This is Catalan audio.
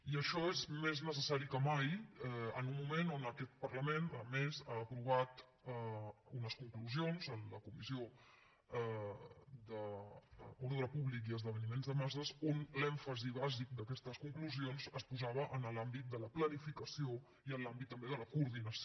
i això és més necessari que mai en un moment en què aquest parlament a més ha aprovat unes conclusions en la comissió d’ordre públic i esdeveniments de masses on l’èmfasi bàsic d’aquestes conclusions es posava en l’àmbit de la planificació i en l’àmbit també de la coordinació